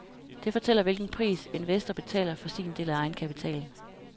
Det fortæller hvilken pris, investor betaler for sin del af egenkapitalen.